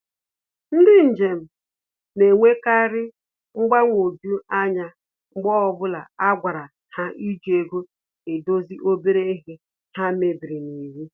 Ndị njem na-enwekari mgbanwoju anya mgbe ọbụla a gwara ha iji ego edozi obere ihe ha mebiri n'iwu